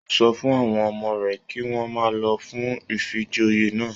O sọ fún àwọn ọmọ rẹ kí wọn má lọ fún ifíjòyè náà.